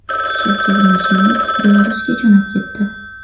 Shavkat Mirziyoyev Belarusga jo‘nab ketdi.